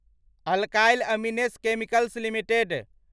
alkyl Amines Chemicals limited